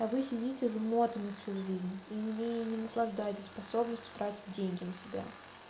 вы сидите жмотами всю жизнь и на ней не наслаждайтесь способностью тратить деньги на себя